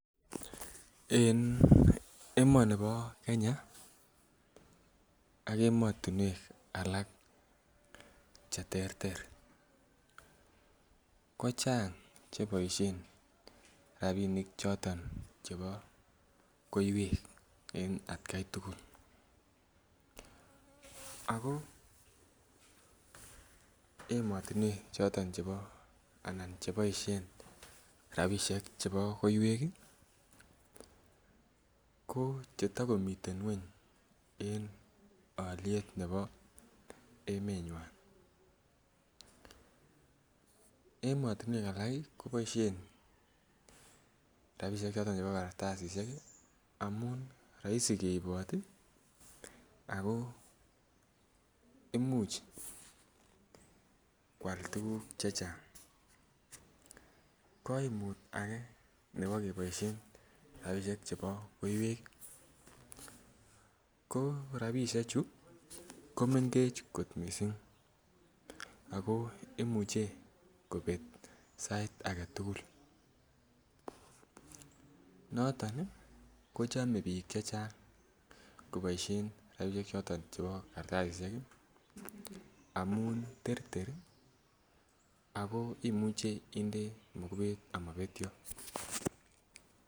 En emoni bo Kenya ak emotinwek alak cheterter ko chang cheboisien rapinik choton chebo koiwek en atkai tugul ako emotinwek choton anan cheboisien rapisiek chebo koiwek ih ko chetokomiten ng'weny en oliet nebo emetnywan emotinwek alak ih koboisien rapisiek choton chebo kartasisiek ih amun roisi keibot ih ako imuch koal tuguk chechang koimut ake nebo keboisien rapisiek chebo koiwek ko rapisiek chu komengech kot missing ako imuche kobek sait aketugul noton ih kochome biik chechang koboisien rapisiek choton chebo kartasisiek ih amun terter ih ako imuche inde mokubet amobetyo